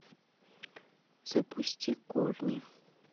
запусти корни